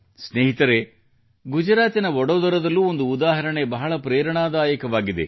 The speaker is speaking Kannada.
ಸ್ನೇಹಿತರೇ ಗುಜರಾತಿನ ವಡೋದರದಲ್ಲೂ ಒಂದು ಉದಾಹರಣೆ ಬಹಳ ಪ್ರೇರಣಾದಾಯಕವಾಗಿದೆ